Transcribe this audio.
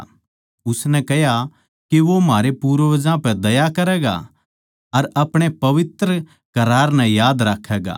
उसनै कह्या कै वो म्हारै पूर्वजां पै दया करैगा अर अपणे पवित्र करार नै याद राक्खैगा